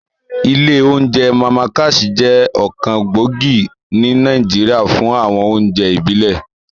Ilé oúnjẹ Màmá Cass jẹ́ ọ̀kan gbòógì ní Nàìjíríà fún àwọn oúnjẹ ìbílẹ̀